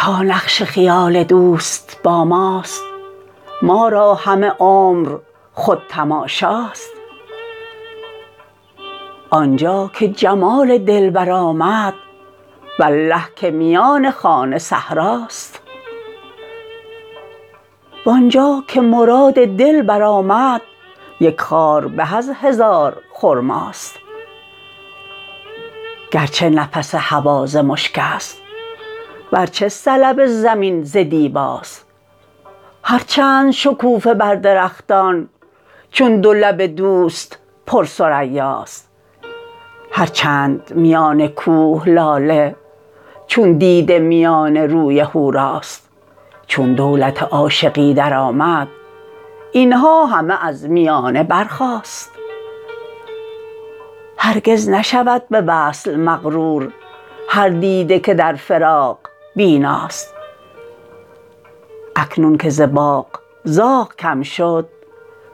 تا نقش خیال دوست با ماست ما را همه عمر خود تماشاست آنجا که جمال دلبر آمد والله که میان خانه صحراست وانجا که مراد دل برآمد یک خار به از هزار خرماست گرچه نفس هوا ز مشکست ورچه سلب زمین ز دیباست هر چند شکوفه بر درختان چون دو لب دوست پر ثریاست هر چند میان کوه لاله چون دیده میان روی حوراست چون دولت عاشقی در آمد اینها همه از میانه برخاست هرگز نشود به وصل مغرور هر دیده که در فراق بیناست اکنون که ز باغ زاغ کم شد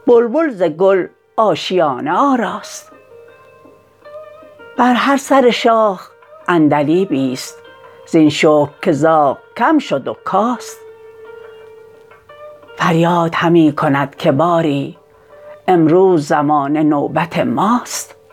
بلبل ز گل آشیانه آراست بر هر سر شاخ عندلیبی ست زین شکر که زاغ کم شد و کاست فریاد همی کند که باری امروز زمانه نوبت ماست